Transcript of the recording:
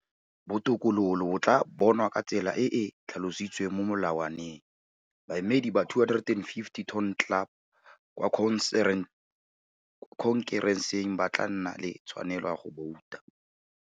Botokololo bo tlaa bonwa ka tsela e e tlhalositsweng mo Melawaneng. Baemedi ba 250 Ton Club kwa Khonkereseng ba tlaa nna le tshwanelo ya go bouta.